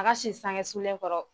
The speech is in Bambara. A ka si sangesulen kɔrɔ.